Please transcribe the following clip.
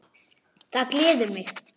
Það gleður mig.